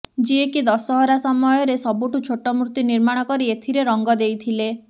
ଯିଏକି ଦଶହରା ସମୟରେ ସବୁଠୁ ଛୋଟ ମୂର୍ତ୍ତି ନିର୍ମାଣ କରି ଏଥିରେ ରଙ୍ଗ ଦେଇଥିଲେ